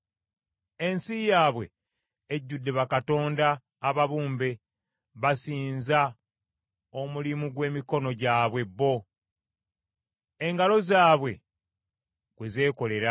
Ensi yaabwe ejjudde bakatonda ababumbe, basinza omulimu gw’emikono gyabwe bo, engalo zaabwe gwe zeekolera.